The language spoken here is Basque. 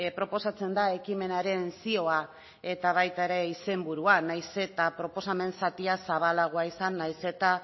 proposatzen da ekimenaren zioa eta baita ere izenburua nahiz eta proposamen zatia zabalagoa izan nahiz eta